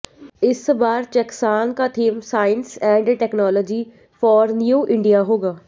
इस बार चैसकॉन का theme science and technology for new India होगा